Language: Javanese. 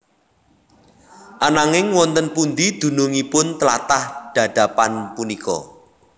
Ananging wonten pundi dunungipun tlatah Dadapan punika